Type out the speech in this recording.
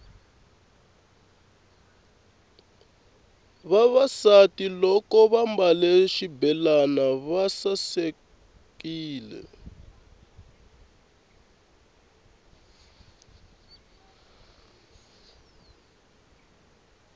vavasati loko vambale xibelani va sakamela